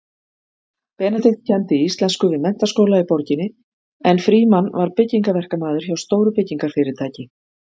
Benedikt kenndi íslensku við menntaskóla í borginni en Frímann var byggingaverkamaður hjá stóru byggingarfyrirtæki.